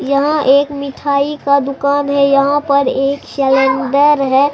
यहां एक मिठाई का दुकान है यहां पर एक सेलेंडर है।